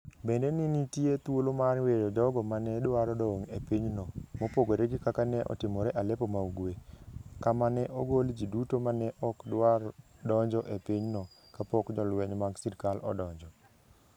Bende ne nitie thuolo mar weyo jogo ma ne dwaro dong ' e pinyno, mopogore gi kaka ne otimore Aleppo ma Ugwe, kama ne ogol ji duto ma ne ok dwar donjo e pinyno kapok jolweny mag sirkal odonjo.